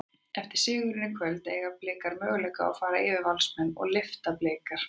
Eftir sigurinn í kvöld, eiga Blikar möguleika fara yfir Valsmenn og lyfta bikar?